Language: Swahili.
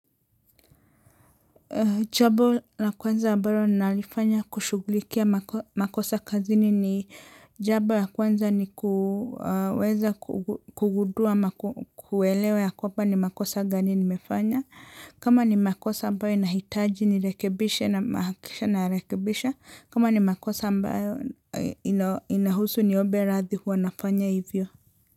Jambo la kwanza ambalo nalifanya kushungulikia makosa kazini ni jambo la kwanza nikuweza kungudua ama kuelewa ya kwamba ni makosa gani nimefanya. Kama ni makosa ambayo ninahitaji nirekebishe na nahakikisha narekebisha. Kama ni makosa ambayo inahusu niombe radhi huwa nafanya hivyo.